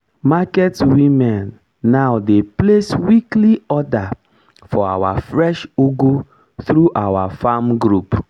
market women now dey place weekly order for our fresh ugu through our farm group